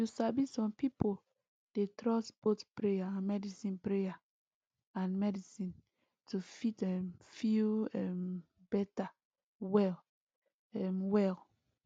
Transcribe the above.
you sabi some pipo dey trust both prayer and medicine prayer and medicine to fit um feel um better well um well